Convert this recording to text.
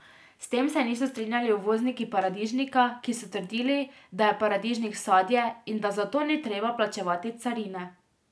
S tem se niso strinjali uvozniki paradižnika, ki so trdili, da je paradižnik sadje in da zato ni treba plačevati carine.